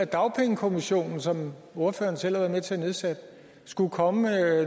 dagpengekommissionen som ordføreren selv har været med til at nedsætte skulle komme